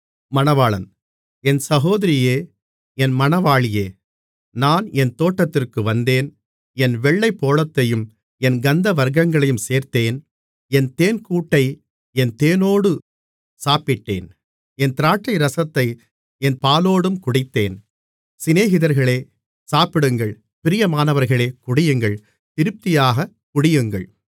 என் சகோதரியே என் மணவாளியே நான் என் தோட்டத்திற்கு வந்தேன் என் வெள்ளைப்போளத்தையும் என் கந்தவர்க்கங்களையும் சேர்த்தேன் என் தேன்கூட்டை என் தேனோடு சாப்பிட்டேன் என் திராட்சைரசத்தை என் பாலோடும் குடித்தேன் சிநேகிதர்களே சாப்பிடுங்கள் பிரியமானவர்களே குடியுங்கள் திருப்தியாகக் குடியுங்கள் மணவாளி